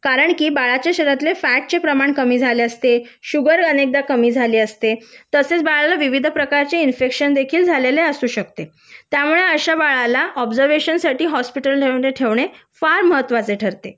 कारण की बाळाच्या शरीरातले फॅटचे प्रमाण कमी झालेले असते शुगर अनेकदा कमी झाली असते तसेच बाळाला विविध प्रकारचे इन्फेक्शन देखील झालेले असू शकते त्यामुळे अशा बाळाला ऑब्झर्वेशन साठी हॉस्पिटलमध्ये ठेवणे फार महत्त्वाचे ठरते